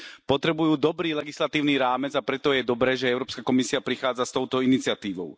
Potrebujú dobrý legislatívny rámec, a preto je dobré, že Európska komisia prichádza s touto iniciatívou.